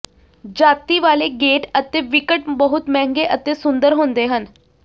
ਜਾਤੀ ਵਾਲੇ ਗੇਟ ਅਤੇ ਵਿਕਟ ਬਹੁਤ ਮਹਿੰਗੇ ਅਤੇ ਸੁੰਦਰ ਹੁੰਦੇ ਹਨ